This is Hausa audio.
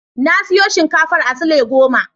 Na siyo shinkafar a sule goma.